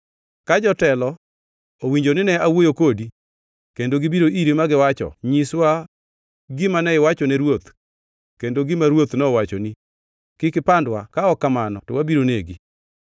Ka jotelo owinjo nine awuoyo kodi, kendo gibiro iri ma giwacho, ‘Nyiswa gima ne iwachone ruoth kendo gima ruoth nowachoni; kik ipandwa ka ok kamano to wabiro negi,’